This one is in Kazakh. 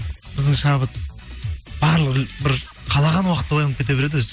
біздің шабыт барлығы бір қалаған уақытта оянып кете береді өзі